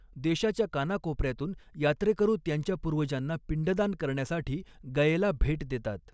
देशाच्या कानाकोपऱ्यातून यात्रेकरू त्यांच्या पूर्वजांना पिंडदान करण्यासाठी गयेला भेट देतात.